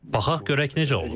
Baxaq görək necə olur.